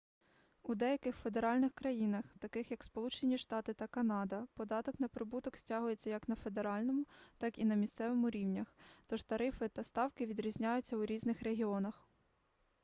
у деяких федеральних країнах таких як сполучені штати та канада податок на прибуток стягується як на федеральному так і на місцевому рівнях тож тарифи та ставки відрізняються у різних регіонах